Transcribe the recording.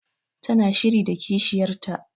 Ta na shiri da kishiyar ta